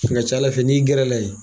Cɛ a ca Ala fɛ n'i gɛrɛla yen.